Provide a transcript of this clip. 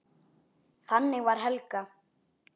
Þannig var Helga.